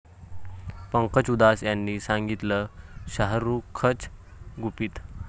पंकज उधास यांनी सांगितलं शाहरुखचं गुपित